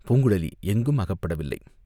பூங்குழலி எங்கும் அகப்படவில்லை.